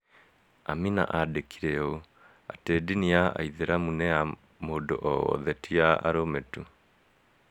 Amina aandĩkire ũũ, atĩ ndini ya aithĩramu nĩ wa mũndũ o wothe, ti ya arũme tu.